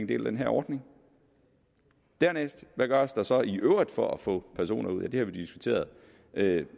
del af den her ordning hvad gøres der dernæst så i øvrigt for at få personer ud det har vi diskuteret